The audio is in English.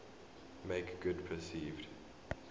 make good perceived